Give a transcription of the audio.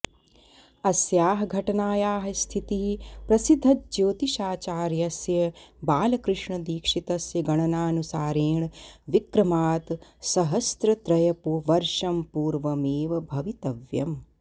अस्याः घटनायाः स्थितिः प्रसिद्धज्योतिषाचार्यस्य बालकृष्णदीक्षितस्य गणनानुसारेण विक्रमात् सहस्रत्रयवर्षं पूर्वमेव भवितव्यम्